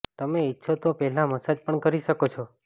તમે ઇચ્છો તો પહેલા મસાજ પણ કરી શકો છો